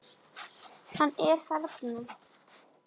Hann er þarna.